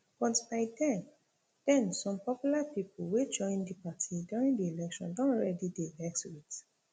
but by den den some popular pipo wey join di party during di election don already dey vex wit